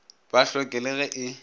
ba hloke le ge e